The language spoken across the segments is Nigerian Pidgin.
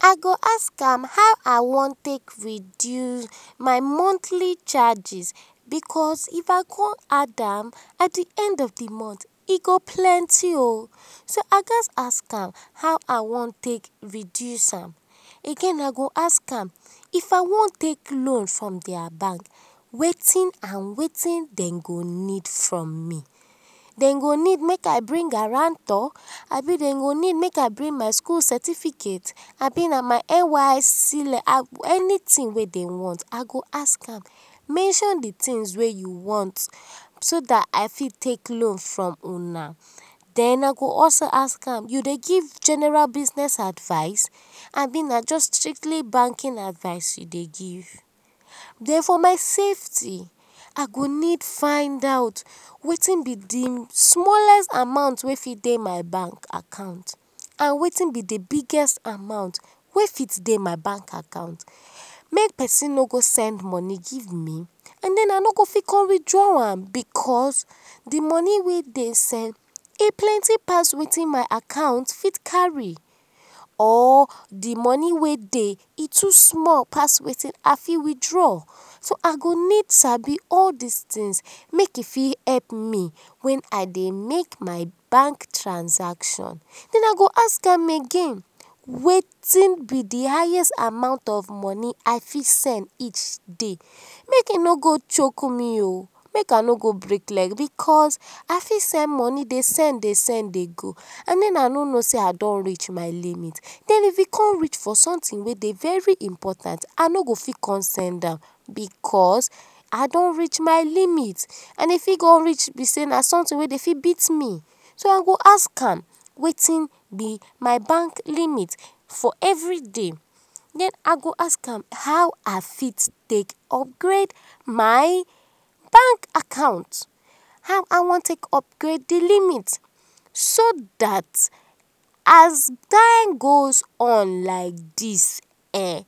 I go ask am how I wan take reduce my monthly charges, because if I con add am at d end of d month ego plenty o, so I gatz ask am how I wan take reduce am, again I go ask am if I wan take loan from dia bank wetin and wetin dem go need from me, dem go need make I bring guarantor ab idem go need make I bring my school certificate abi na my NYSC, anything wey dem want, I go ask am mention d things wey u want so dat I fit take loan from una, den I go also ask am, u dey give general business advice abi na jus strictly banking advice u dey give. Den for my safety I go need find out wetin b d small amount wey fit dey my bank account and wetin b d biggest amount wey fit dey my bank account make persin no go send money give me den I no go fit con withdraw am because d money wey dem send e plenty pass wetin my account fit carry, or d money wey dey e too small pass wetin I fit withdraw, so I go need sabi all dis things make e fit help me wen I dey make my bank transaction, den I go ask am again wetin b d highest amount of money I fit send each day, make e no go choke me o, I fit break leg, I fit send money dey go dey go because I no no sey I don reach my limit, den if e con reach for something wey dey important, I no go fit con send am, because I don reach my limit and e fit con reach b sey na something wey dem fit beat me, so I go ask am wetin b my bank limit for every day, den I goa sk am how I go fit take upgrade my bank account, how I wan take upgrade d limit so fdat as time goes on like dis ehn,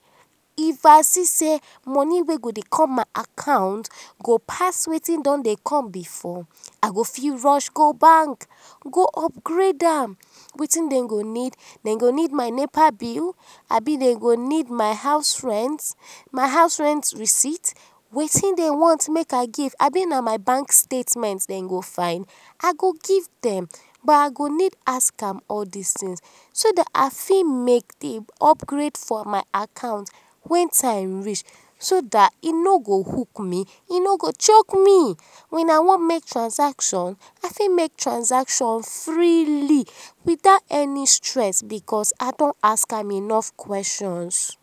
if I see sey money wey go dey com my account go pass wetin don dey come before, I go fit rush go bank go upgrade am, wetin dem go need, dem go need my nepa bill, ab idem go need my house rent, my house rent receipt, wetin dem want make I give, abi na my bank statement dem go find I go give dem but I go need ask am all dis things so dat I fit make d upgrade for my account wen time reach so dat e no go hook me, e no choke me, wen I wan make transaction, I fit make transaction freely without any stress because I don ask am enough questions.